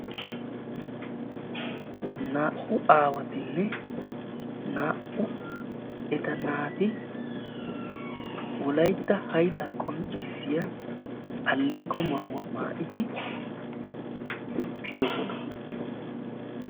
Naa"u aawatinne naa"u eta naat Wolaytta haydda qonccissiya alleeqo maayyuwa maattidi utridoosona.